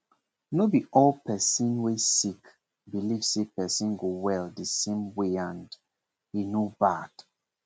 no b all person wey sick belief say person go well same wayand he no bad